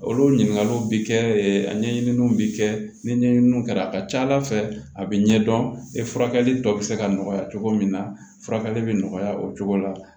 Olu ɲininkaliw bi kɛ a ɲɛɲininiw bi kɛ ni ɲɛɲininw kɛra a ka ca ala fɛ a bɛ ɲɛdɔn e furakɛli tɔ bɛ se ka nɔgɔya cogo min na furakɛli bɛ nɔgɔya o cogo la